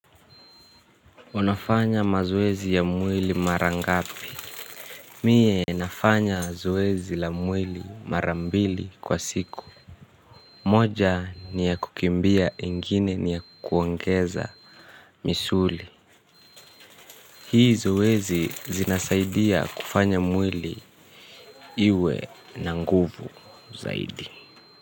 Unafanya mazoezi ya mwili mara ngapi. Mie nafanya zoezi la mwili marambili kwa siku. Moja ni ya kukimbia ingine ni ya kuongeza misuli. Hii zoezi zinasaidia kufanya mwili iwe na nguvu zaidi.